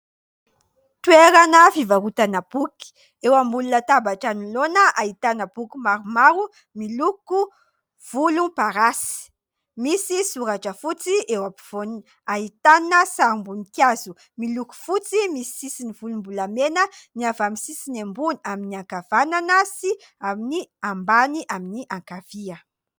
Toerana fivarotana boky. Eo ambony latabatra anoloana ahitana boky maromaro miloko volomparasy, misy soratra fotsy eo ampovoany, ahitana sarim-boninkazo miloko fotsy misy sisiny volombolamena ny avy any amin'ny sisiny ambony amin'ny ankavanana sy amin'ny ambany amin'ny ankavia.